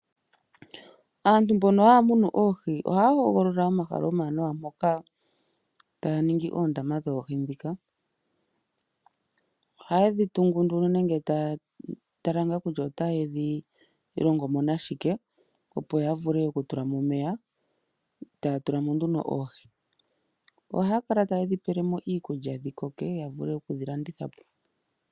Aantu mbono haya munu oohi ohaya hogolola omahala omawanawa moka taya ningi oondama dhoohi dhika, ohaye dhi tungu nenge taya tala ngaa kutya otaye dhi longo mo nashike opo ya vule oku tula mo omeya, e taya tula mo nduno oohi. Ohaya kala taye dhi pele mo iikulya opo dhi koke yavule okudhi landitha po.